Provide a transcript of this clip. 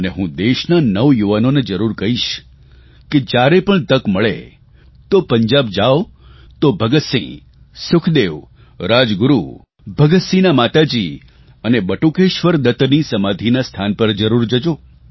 અને હું દેશના નવયુવાનોને જરૂર કહીશ કે જયારે પણ તક મળે તો પંજાબ જાવ તો ભગતસિંહ સુખદેવ રાજગુરૂ ભગતસિંહના માતાજી અને બટુકેશ્વર દત્તની સમાધિના સ્થાન પર જરૂર જજો